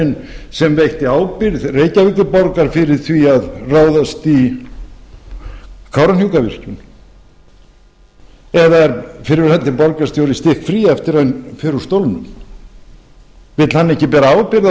verndarherinn sem veitti ábyrgð reykjavíkurborgar fyrir að ráðast í kárahnjúkavirkjun eða er fyrrverandi borgarstjóri stikkfrí eftir hann fer út stólnum vill hann ekki bera ábyrgð á